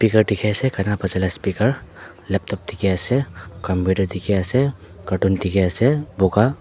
pikar dikhi ase gana Baja lah speaker laptop dikhi ase computer dikhi ase carton dikhi ase boga.